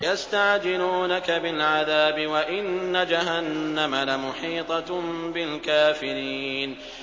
يَسْتَعْجِلُونَكَ بِالْعَذَابِ وَإِنَّ جَهَنَّمَ لَمُحِيطَةٌ بِالْكَافِرِينَ